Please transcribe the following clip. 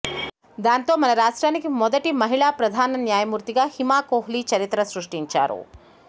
దాంతో మన రాష్ట్రానికి మొదటి మహిళ ప్రధాన న్యాయమూర్తిగా హిమా కోహ్లీ చరిత్ర సృష్టించారు